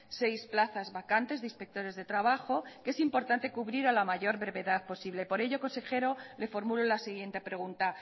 seis plazas vacantes de inspectores de trabajo que es importante cubrir a la mayor brevedad posible por ello consejero le formulo la siguiente pregunta